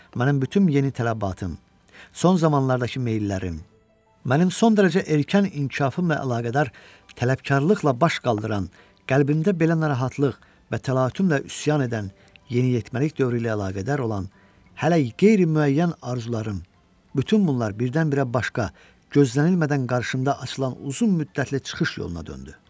Mənim bütün yeni tələbatım, son zamanlardakı meyllərim, mənim son dərəcə erkən inkişafımla əlaqədar tələbkarlıqla baş qaldıran, qəlbimdə belə narahatlıq və təlatümlə üsyan edən, yeniyetməlik dövrü ilə əlaqədar olan hələ qeyri-müəyyən arzularım, bütün bunlar birdən-birə başqa, gözlənilmədən qarşımda açılan uzunmüddətli çıxış yoluna döndü.